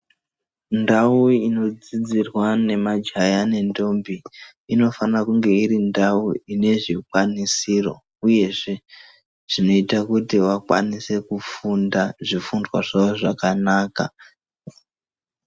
Ndau inodzidzirwa nemajaha nentombi inofana kunge iri ndau ine zvikwanisiro uyezve zvinoita kuti vakwanise kufunda zvifundwa zvavo zvakanaka.